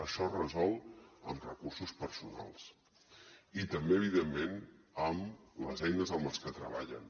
això es resol amb recursos personals i també evidentment amb les eines amb les que treballen